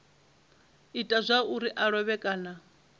ita zwauri a lovhe kana